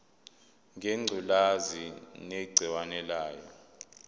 ngengculazi negciwane layo